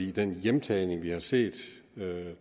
i den hjemtagning vi har set